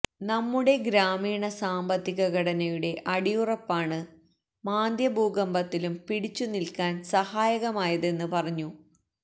നമ്മുടെ ഗ്രാമീണ സാമ്പത്തിക ഘടനയുടെ അടിയുറപ്പാണ് മാന്ദ്യഭൂകമ്പത്തിലും പിടിച്ചു നില്ക്കാന് സഹായകമായതെന്ന് പറഞ്ഞു